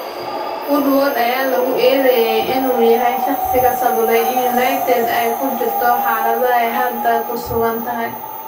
Woodward ayaa lagu eedeeyay inuu yahay shaqsiga sababay in United ay ku jirto xaalada ay hadda ku sugan tahay.